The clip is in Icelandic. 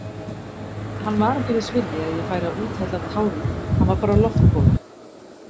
Hann var ekki þess virði að ég færi að úthella tárum, hann var bara loftbóla.